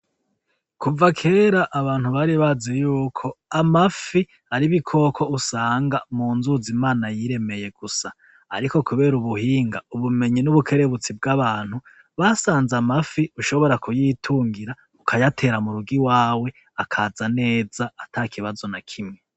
Kuva kera abantu bari baziyuko amafi ari ibikoko usanga munzuzi imana yiremeye gusa, ariko kubera ubuhinga , ubumenyi nubukerebutsi bwabantu , basanze amafi ushobora kuyitungira ukayatera murugo iwawe akaza neza atakibazo nakimwe.